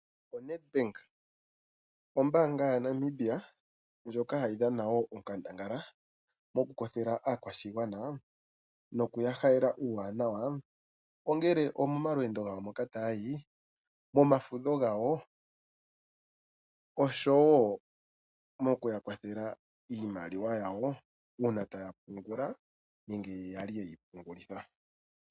ONedbank ombaanga yaNamibia ndjoka hayi dhana wo onkandangala, mokukwathela aakwashigwana nokuya halela uuwanawa, ongele omomalwendo gawo moka tayayi, momafudho gawo, osho wo mokuya kwathela iimaliwa yawo uuna taya pungula nenge yali yeyi pungulitha.